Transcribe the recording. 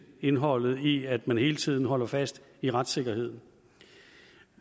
indholdet i at man hele tiden holder fast i retssikkerheden